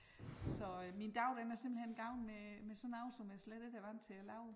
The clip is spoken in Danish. Så øh min dag den er simpelthen gået med med sådan noget som jeg slet ikke er vant til at lave